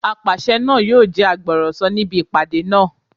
Apàṣẹ náà yóò jẹ́ agbọ̀rọ̀sọ níbi ìpàdé náà